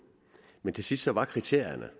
men til sidst var kriterierne